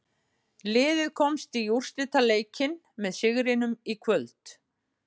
Liðið komst í úrslitaleikinn með sigrinum í kvöld.